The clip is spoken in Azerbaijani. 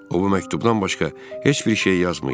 O bu məktubdan başqa heç bir şey yazmayıb.